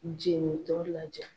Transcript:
Jeni tɔ lajaa.